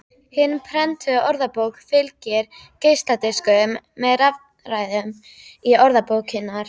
Hinni prentuðu orðabók fylgir geisladiskur með rafrænni gerð orðabókarinnar.